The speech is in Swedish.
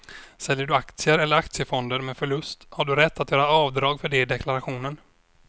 Säljer du aktier eller aktiefonder med förlust har du rätt att göra avdrag för det i deklarationen.